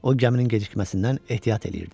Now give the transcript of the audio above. O gəminin gecikməsindən ehtiyat eləyirdi.